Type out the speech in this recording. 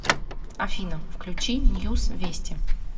афина включи ньюс вести